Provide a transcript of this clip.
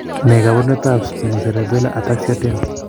Ne kaabarunetap Spinocerebellar Ataxia 10?